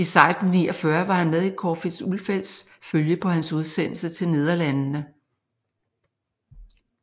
I 1649 var han med i Corfitz Ulfeldts følge på hans udsendelse til Nederlandene